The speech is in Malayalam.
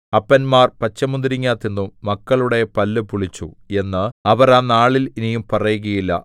അപ്പന്മാർ പച്ചമുന്തിരിങ്ങാ തിന്നു മക്കളുടെ പല്ലു പുളിച്ചു എന്ന് അവർ ആ നാളിൽ ഇനി പറയുകയില്ല